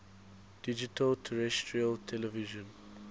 digital terrestrial television